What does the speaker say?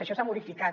això s’ha modificat